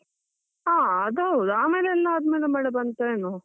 ಹಾ, ಅದೌದು ಆಮೇಲೆ ಎಲ್ಲಾ ಆದ್ಮೇಲೆ ಮಳೆ ಬಂತ ಏನೋ.